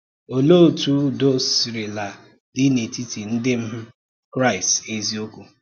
Òlee otú udo sirila dị n’etiti ndị̀ um Kraịst eziokwu?